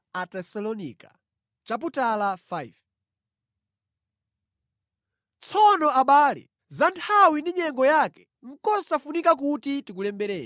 Tsono abale, za nthawi ndi nyengo yake nʼkosafunikira kuti tikulembereni,